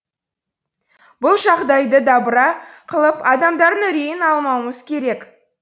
бұл жағдайды дабыра қылып адамдардың үрейін алмауымыз керек